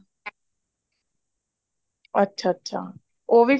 ਅੱਛਾ ਅੱਛਾ ਉਹ ਵੀ ਫ਼ੇਰ